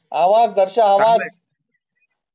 अवाज दरश्या अवाज